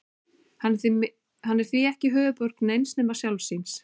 Hann er því ekki höfuðborg neins nema sjálfs sín.